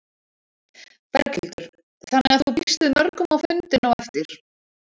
Berghildur: Þannig að þú býst við mörgum á fundinn á eftir?